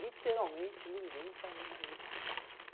Literalmente, ninguém tá nem aí.